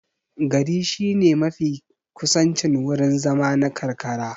Gari shine mafi kusancin wurin zama na karkara.